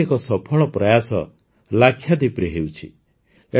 ଏପରି ଏକ ସଫଳ ପ୍ରୟାସ ଲାକ୍ଷାଦ୍ୱୀପରେ ହେଉଛି